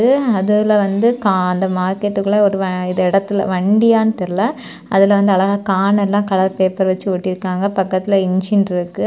இது அதுல வந்து கா அந்த மார்க்கெட்டுக்குள்ள ஒரு வ இந்த இடத்துல வண்டியானு தெரில அதுல வந்து அழகா கார்ன் எல்லா கலர் பேப்பர் வெச்சு ஒட்டியிருக்காங்க பக்கத்துல இன்ஜின் இருக்கு.